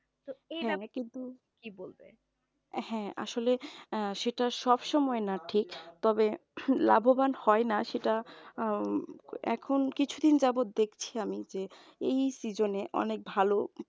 হ্যাঁ আসলে অ্যাঁ সেটা সব সময় না ঠিক তবে লাভবান হয় না সেটা এখন কিছুদিন যাবত দেখছি আমি যে এই season অনেক ভালো